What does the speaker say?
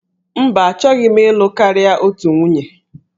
Mba, achọghị m ịlụ karịa otu nwunye.